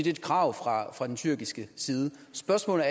er et krav fra fra den tyrkiske side spørgsmålet